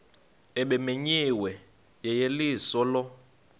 ebimenyiwe yeyeliso lo